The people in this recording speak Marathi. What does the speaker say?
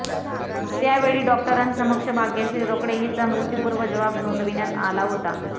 त्यावेळी डॉक्टरांसमक्ष भाग्यश्री रोकडे हिचा मृत्यूपूर्व जबाब नोंदविण्यात आला होता